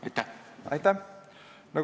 Aitäh!